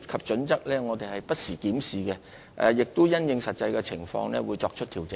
此外，我們會不時檢視《規劃標準》，並因應實際情況作出調整。